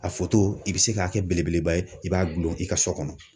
A i bɛ se k'a kɛ belebeleba ye i b'a gulon i ka so kɔnɔ.